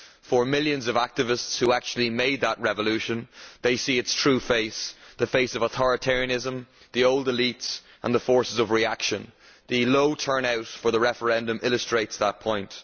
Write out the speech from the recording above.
The millions of activists who actually made that revolution are seeing its true face the face of authoritarianism, the old elites and the forces of reaction. The low turnout for the referendum illustrates that point.